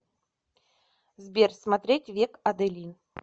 сбер смотреть век аделин